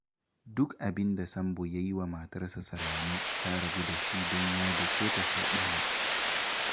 Duk abin da Sambo ya yi wa matarsa Salame, ta rabu da shi don ya dake ta sau ɗaya